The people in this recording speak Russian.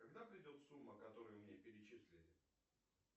когда придет сумма которую мне перечислили